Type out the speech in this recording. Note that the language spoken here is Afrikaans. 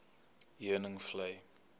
heuningvlei